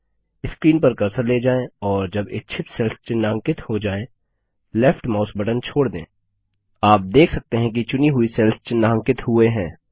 screen पर cursor ले जाएँ और जब इच्छित सेल्स चिन्हांकित हों जाएँ लेफ्ट माउस बटन छोड़ दें आप देखते हैं कि चुनी हुई सेल्स चिन्हांकित हुए हैं